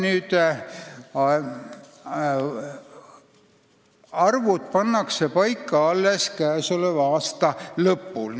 Aga arvud pannakse paika alles käesoleva aasta lõpul.